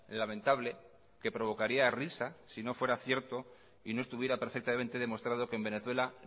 lamentable que provocaría risa si no fuera cierto y no estuviera perfectamente demostrado que en venezuela